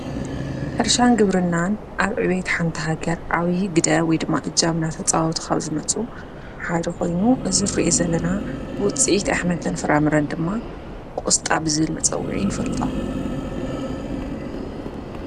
ሕርሻን ግብርናን ኣብ ዕቤየት ሓንቲ ሃገር ዓብዪ ግደ ወይድማ እጃም እናተፃዋተ ኻብ ዝመፁ ሓደ ኾይኑ እዝ ንሪእዮ ዘለና ውፂኢት ኣሕምልትን ፍራምረን ድማ ቖስጣ ብዝብል መጸውዒ ንፈልጦ፡፡